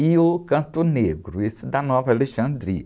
E o Canto Negro, esse da Nova Alexandria.